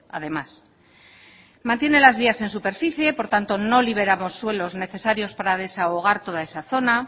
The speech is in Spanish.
además mantiene las vías en superficie por tanto no liberamos suelos necesarios para desahogar toda esa zona